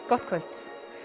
gott kvöld